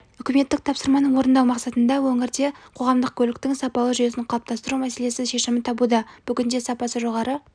үкіметтік тапсырманы орындау мақсатында өңірде қоғамдық көліктің сапалы жүйесін қалыптастыру мәселесі шешімін табуда бүгін сапасы жоғары